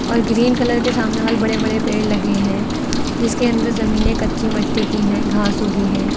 और green colour के सामने वाले बड़े बड़े पेड़ लगे हैं जिसके अंदर जमीने कच्ची मिट्टी की हैं घास उगी हैं।